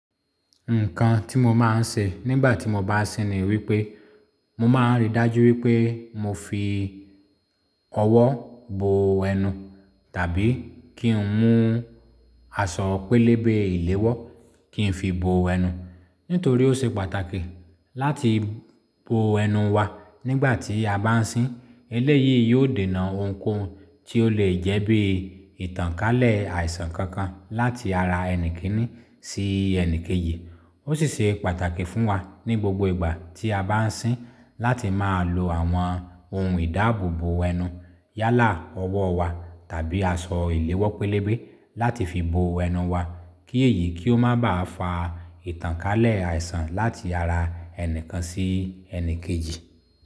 Nǹkan tí mo máa ń ṣe nígbà tí mo bá ń ṣín ni wípé, mo máa ń rí dájú wípé mo fi ọwọ́ bo ẹnu, tàbí kí n mú aṣọ pélébé èléwọ́ kí n fi bo ẹnu. Nítorí ó ṣe pàtàkì láti bo ẹnu wa nígbà tí a bá ń ṣín. Eléyìí yóò dènà ohunkóhun tí ó lè jẹ́ bí ìtànkálẹ̀ àìsàn kankan láti ara ẹni kínní sí ẹni kejì. Ó sì ṣe pàtàkì fún wa ní gbogbo ìgbà tí a bá ń ṣín láti máa lo àwọn ohun ìdáàbò bo ẹnu yálà ọwọ́ wa tàbí aṣọ ìléwọ́ pélébé láti fi bo ẹnu wa. Kí èyí kì ó má ba à fa ìtànkálẹ̀ àìsàn láti ara ẹni kan sí ẹni kejì.